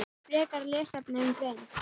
Frekari lesefni um greind hrafna